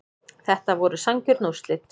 Þetta voru sanngjörn úrslit